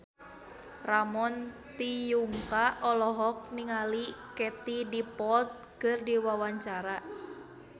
Ramon T. Yungka olohok ningali Katie Dippold keur diwawancara